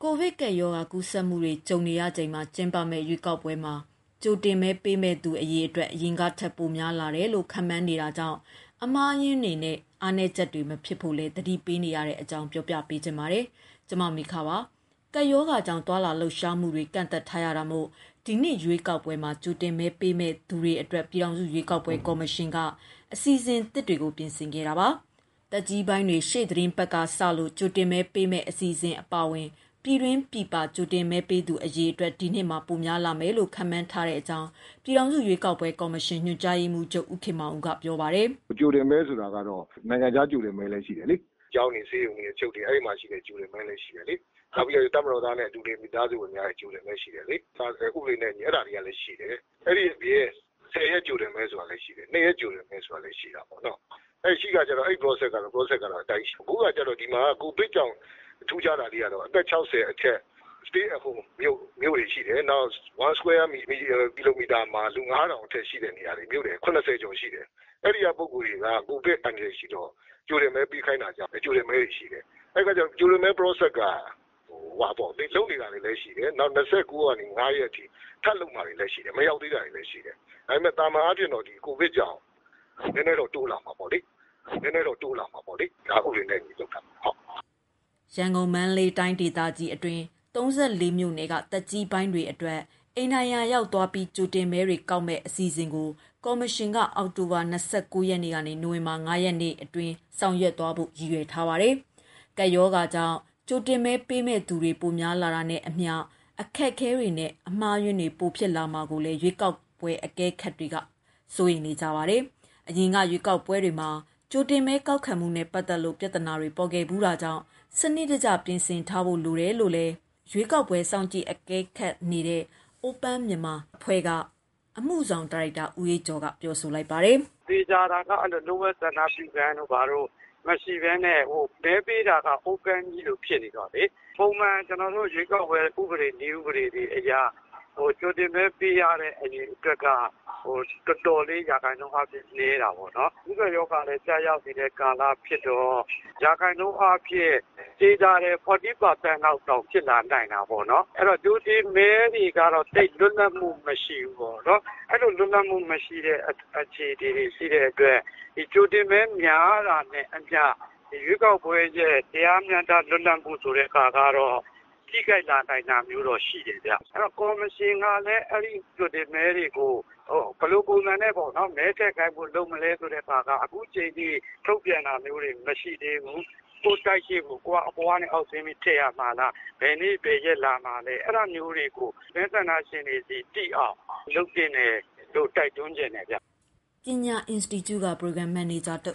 ကိုဗစ်ကပ်ရောဂါ ကူးစက်မှုတွေ ကြုံနေရချိန်မှာ ကျင်းပမယ့် ရွေးကောက်ပွဲမှာ ကြိုတင်မဲပေးမယ့်သူ အရေအတွက် အရင်ထက် ပိုများမယ်လို့ ခန့်မှန်းနေတာကြောင့် အမှားအယွင်းတွေနဲ့ အားနည်းချက်တွေ မဖြစ်ဖို့လည်း သတိပေးနေကြတဲ့အကြောင်း ပြောပြပါမယ်။ ဗွီအိုအေမြန်မာပိုင်းသတင်းထောက် မမေခက သတင်းပေးပို့ထားပါတယ်။ ကပ်ရောဂါကြောင့် သွားလာလှုပ်ရှားမှုတွေ ကန့်သတ်ထားရတာကြောင့် ဒီနှစ်ရွေးကောက်ပွဲမှာ ကြိုတင်မဲပေးမယ့်သူတွေအတွက် ပြည်ထောင်စု ရွေးကောက်ပွဲ ကော်မရှင်က အစီအစဉ်သစ်တွေကို ပြင်ဆင်နေတာပါ။ သက်ကြီးပိုင်းတွေ ရှေ့သီတင်းပတ်ကစ ကြိုတင်မဲပေးမယ့် အစီအစဉ်အပါအဝင် ပြည်တွင်းပြည်ပ ကြိုတင်မဲပေးသူ အရေအတွက် ဒီနှစ်မှာ ပိုများမယ်လို့ ခန့်မှန်းထားကြောင်းလည်း ပြည်ထောင်စုရွေးကောက်ပွဲကော်မရှင်ညွှန်ကြားရေးမှုးချုပ် ဦးခင်မောင်ဦးကပြောပါတယ်။ "ကြိုတင်မဲဆိုတာကတော့ နိုင်ငံခြားကြိုတင်မဲလည်း ရှိတယ်လေ။ ကျောင်းတွေ၊ ဆေးရုံတွေ၊ အချုပ်တွေ အဲဒီမှာရှိတဲ့ ကြိုတင်မဲလည်းရှိတယ်လေ။ နောက်ပြီးတော့ တပ်မတော်ဝင်များနဲ့ အတူနေ မိသားစုတွေရဲ့ ကြိုတင်မဲလည်း ရှိတယ်လေ။ ဥပဒေနဲ့အညီ အဲဒါတွေကလည်းရှိတယ်။ အဲဒါတွေအပြင် ၁၀ ရက်ကြိုတင်မဲဆိုတာလည်းရှိတယ်၊ ၂ ရက် ကြိုတင်မဲဆိုတာလည်း ရှိတာပေါ့နော့်။ ရှိတဲ့အခါကျတော့ process ကတော့ အဲဒီအတိုင်းရှိမယ်။ အခုဟာကျတော့ ဒီမှာက ကိုဗစ်ကြောင့် ထူးခြားတာလေးကတော့ အသက် ၆၀ အထက် stay at home မြို့တွေရှိတယ်။ နောက် ၁ square kilometer မှာ လူ ၅,၀၀၀ အထက် ရှိတဲ့ နေရာတွေ... မြို့နယ် ၇၀ ကျော် ရှိတယ်။ အဲဒီက ပုဂ္ဂိုလ်တွေက ကိုဗစ် အန္တရာယ်ရှိတော့ ကြိုတင်မဲပေးခိုင်းတာကြောင့် ကြိုတင်မဲတွေ ရှိတယ်။ ကြိုတင်မဲ process က လုပ်နေတာတွေလည်း ရှိတယ်။ နောက် ၂၉ ရက်ကနေ ၅ ရက်အထိ ထပ်လုပ်မှာတွေလည်း ရှိတယ်။ မရောက်သေးတာတွေလည်းရှိတယ်။ ဒါပေမဲ့ သာမန်အားဖြင့်တော့ ဒီကိုဗစ်ကြောင့် နည်းနည်းတော့ တိုးလာမှာပေါ့လေ။ ဒါ ဥပဒေနဲ့အညီလုပ်တာဖြစ်ပါတယ်။" ရန်ကုန်နဲ့ မန္တလေးတိုင်းအတွင်း ၃၄ မြို့နယ်က သက်ကြီးပိုင်းတွေအတွက် အိမ်တိုင်ယာရောက်သွားပြီး ကြိုတင်မဲတွေ ကောက်ခံမယ့် အစီအစဉ်ကို ကော်မရှင်က အောက်တိုဘာလ ၂၉ ရက်နေ့ကနေ နိုဝင်ဘာ ၅ ရက်အတွင်း ဆောင်ရွက်သွားဖို့ ရည်ရွယ်ထားတာပါ။ ကပ်ရောဂါကြောင့် ကြိုတင်မဲပေးမယ့်သူတွေ ပိုများလာတာနဲ့အမျှ အခက်အခဲတွေနဲ့ အမှားအယွင်းတွေ ပိုများလာမှာကိုလည်း ရွေးကောက်ပွဲ အကဲခတ်တွေကြားမှာ စိုးရိမ်နေကြပါတယ်။ အရင်က ရွေးကောက်ပွဲတွေမှာ ကြိုတင်မဲ ကောက်ခံမှုနဲ့ ပတ်သက်လို့ ပြဿနာတွေပေါ်ခဲ့ဖူးတာကြောင့် စနစ်တကျ ပြင်ဆင်ထားဖို့ လိုတယ်လို့လည်း ရွေးကောက်ပွဲ စောင့်ကြည့် အကဲခတ်နေတဲ့ Open Myanmar Initiative (OMI) က အမှုဆောင် ဒါရိုက်တာ ဦးအေးကျော်က ပြောပါတယ်။ "သေချာတာက အဲဒီလို လျှို့ဝှက်ဆန္ဒပြုခန်းတို့၊ ဘာတို့ မရှိဘဲနဲ့ မဲပေးတာက open ကြီးလို ဖြစ်နေတော့လေ... ပုံမှန် ကျနော်တို့ ရွေးကောက်ပွဲဥပဒေအရ ကြိုတင်မဲ ပေးရတဲ့ အရေအတွက်က တော်တော်လေး ရာခိုင်နှုန်းအားဖြင့်နည်းတာပေါ့နော်။ ကူးစက်ရောဂါကလည်း ကျရောက်နေတဲ့ ကာလဖြစ်တော့ ရာခိုင်နှုန်းအားဖြင့် သေချာတယ်... ၄၀ ရာခိုင်နှုန်းလောက်တောင် ဖြစ်လာနိုင်တာပေါ့နော်။ အဲဒီတော့ ကြိုတင်မဲတွေကတော့ သိပ်လွတ်လပ်မှုမရှိဘူးပေါ့နော်။ အဲဒီလို လွတ်လပ်မှုမရှိတဲ့ အခြေအနေတွေ ရှိတဲ့အတွက် ကြိုတင်မဲ များတာနဲ့ အမျှ ဒီရွေးကောက်ပွဲရဲ့ တရားမျှတမှု လွတ်လပ်တဲ့ဟာကတော့ ထိခိုင်လာနိုင်တာမျိုးတော့ ရှိတယ်ဗျ။ အဲဒီတော့ ကော်မရှင်ကလည်း အဲဒီကြိုတင်မဲတွေကို ဘယ်လိုပုံစံနဲ့ပေါ့နော်... မဲထည့်ခိုင်းဖို့ လုပ်မလဲဆိုတဲ့ဟာက အခုအချိန်အထိ ထုတ်ပြန်တာမျိုးတွေ မရှိသေးဘူး။ ကိုယ့်တိုက်အရှေ့ကို ကိုယ်က အပေါ်ကနေအောက်ဆင်းပြီး ထည့်ရမှာလား။ ဘယ်နေ့ ဘယ်ရက်လာမှာလဲ။ အဲဒါမျိုးတွေကို မဲဆန္ဒရှင်တွေဆီ သိအောင် လုပ်သင့်တယ်လို့ တိုက်တွန်းချင်တယ်ဗျ။ Panna Institute က ပရိုဂရမ် မန်နေဂျာ ဦး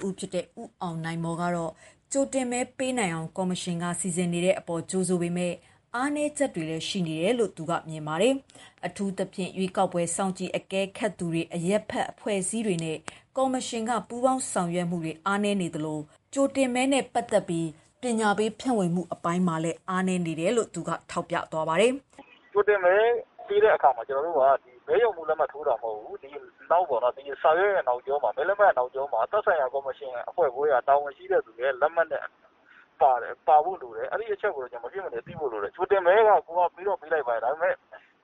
အောင်နိုင်မော်ကတော့ ကြိုတင်မဲပေးနိုင်အောင် ကော်မရှင်က စီစဉ်နေတဲ့အပေါ် ကြိုဆိုပေမဲ့ အားနည်းချက်တွေလည်း ရှိနေတယ်လို့ မြင်ပါတယ်။ အထူးသဖြင့် ရွေးကောက်ပွဲ စောင့်ကြည့် အကဲခတ်သူတွေ အရပ်ဘက် အဖွဲ့အစည်းတွေနဲ့ ကော်မရှင်က ပူးပေါင်းဆောင်ရွက်မှုတွေ အားနည်းနေတယ်လို့လည်း ပြောပါတယ်။ "ကြိုတင်မဲပေးတဲ့အခါမှာ ကျနော်တို့က ဒီမဲရုံမှူး လက်မှတ်ထိုးတာမဟုတ်ဘူး။ စာရွက်ရဲ့နောက်ကျော၊ ဒီ မဲလက်မှတ်ရဲ့ နောက်ကျောမှာ သက်ဆိုင်ရာ ကော်မရှင် အဖွဲ့ခွဲက တာဝန်ရှိတဲ့သူရဲ့ လက်မှတ်နဲ့ ပါဖို့လိုတယ်။ အဲဒီတချက်ကို မဖြစ်မနေ သိဖို့လိုတယ်။ ကြိုတင်မဲက ကိုယ်က ပေးတော့ပေးလိုက်ပါရဲ့ ဒါပေမဲ့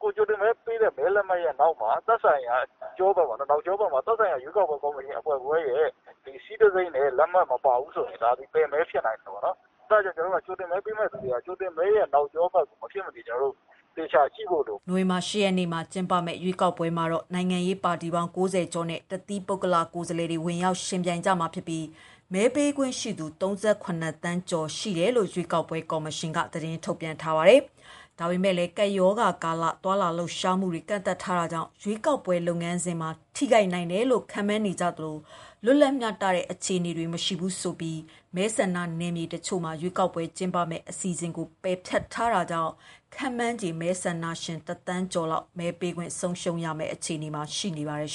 ကိုယ်ကြိုတင်မဲပေးတဲ့ မဲလက်မှတ်ရဲ့ နောက်ကျောဘက်မှာ သက်ဆိုင်ရာ ရွေးကောက်ပွဲ ကော်မရှင်အဖွဲ့ခွဲရဲ့ seal တံဆိပ်နဲ့ လက်မှတ်မပါဘူးဆိုရင် ဒါသည် ပယ်မဲ ဖြစ်နိုင်တယ်ပေါ့နော်။ အဲဒါကြောင့်မို့ ကြိုတင်မဲပေးမယ့်သူတွေက ကြိုတင်မဲရဲ့ နောက်ကျောဘက်ကို မဖြစ်မနေ သေချာကြည့်ဖို့လိုတယ်။" နိုဝင်ဘာလ ၈ ရက်နေ့မှာ ကျင်းပမယ့် ရွေးကောက်ပွဲမှာတော့ နိုင်ငံရေးပါတီပေါင်း ၉၀ ကျော်နဲ့ တသီးပုဂ္ဂလ လွှတ်တော်ကိုယ်စားလှယ်တွေ ဝင်ရောက်ယှဉ်ပြိုင်ကြမှာဖြစ်ပြီး မဲပေးခွင့်ရှိသူ ၃၇ သန်းကျော် ရှိမယ်လို့လည်း ရွေးကောက်ပွဲ ကော်မရှင်က သတင်းထုတ်ပြန်ထားပါတယ်။ ဒါပေမဲ့လည်း ကပ်ရောဂါကာလ သွားလာလှုပ်ရှားမှုတွေ ကန့်သတ်ထားတာကြောင့် ရွေးကောက်ပွဲ လုပ်ငန်းစဉ်မှာ ထိခိုက်နိုင်တယ်လို့ ခန့်မှန်းနေကြသလို လွတ်လပ်မျှတတဲ့ အခြေအနေတွေ မရှိဘူးဆိုပြီး မဲဆန္ဒ နယ်မြေတချို့မှာ ရွေးကောက်ပွဲ ကျင်းပမယ့်အစီအစဉ်ကို ပယ်ဖျက်ထားတာကြောင့် ခန့်မှန်းခြေမဲဆန္ဒရှင် ၁,၀၀၀,၀၀၀ ကျော်လောက် မဲပေးခွင့် ဆုံးရှုံးရမယ့် အခြေအနေမှာ ရှိနေပါတယ်။